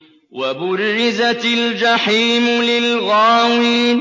وَبُرِّزَتِ الْجَحِيمُ لِلْغَاوِينَ